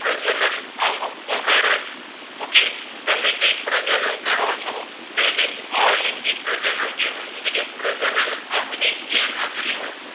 કરો છો તો એને અલિંગી પ્રજનન કેહવાય એટલે કે પ્રજનન અંગ ની ગેરહાજરી હોય